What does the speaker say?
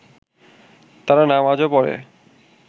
তারা নামাজও পড়ে